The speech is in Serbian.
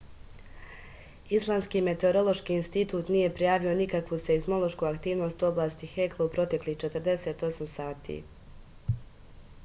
islandski meteorološki institut nije prijavio nikakvu seizmološku aktivnost u oblasti hekla u proteklih 48 sati